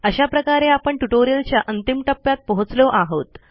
अशा प्रकारे आपण ट्युटोरियलच्या अंतिम टप्प्यात पोहोचलो आहोत